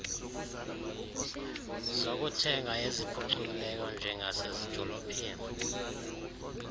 zokuthenga eziphucukileyo njengasezidolophini